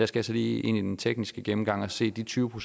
skal så lige ind i den tekniske gennemgang og se de tyve